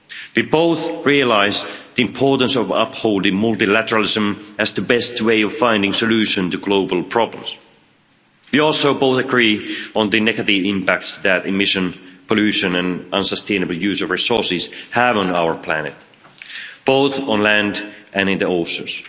We both realise the importance of upholding multilateralism as the best way of finding solutions to global problems. We also both agree on the negative impact that emissions, pollution and unsustainable use of resources has on our planet, both on land and in the oceans.